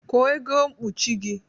Kwọ ego mkpụchị gi